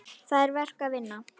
Það er verk að vinna.